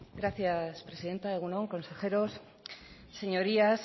gracias presidenta egun on consejeros señorías